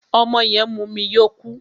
Ọmọ yẹn mumu yó kú.